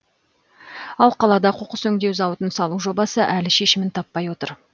ал қалада қоқыс өңдеу зауытын салу жобасы әлі шешімін таппай отыр